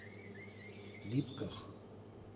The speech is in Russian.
липках